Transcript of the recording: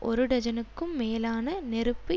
ஒரு டஜனுக்கும் மேலான நெருப்பு